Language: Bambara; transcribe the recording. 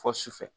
Fɔ sufɛ